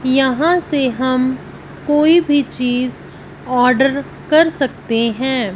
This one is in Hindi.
यहां से हम कोई भी चीज ऑर्डर कर सकते हैं।